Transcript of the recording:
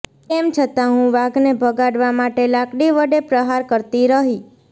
તેમ છતાં હું વાઘને ભગાડવા માટે લાકડી વડે પ્રહાર કરતી રહી